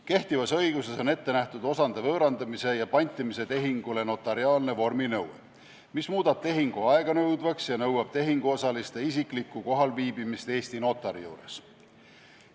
Kehtivas õiguses on osade võõrandamise ja pantimise tehingu puhul ette nähtud notariaalne vorminõue, mis muudab tehingu aeganõudvaks ja nõuab tehinguosaliste isiklikku kohalviibimist Eesti notari juures.